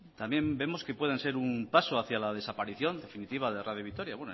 también vemos que puedan ser un paso hacia la desaparición definitiva de radio vitoria